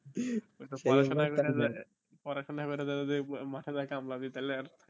পড়াশোনা করে পড়াশোনা করে যতটা মাথা তা তালে আর